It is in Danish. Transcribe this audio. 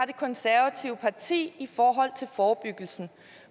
det konservative parti i forhold til forebyggelsen